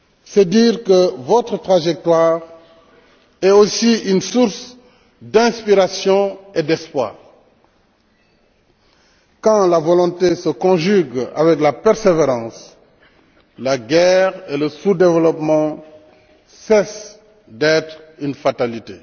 C'est dire que votre trajectoire est aussi une source d'inspiration et d'espoir. Quand la volonté se conjugue avec la persévérance, la guerre et le sous développement cessent d'être une fatalité.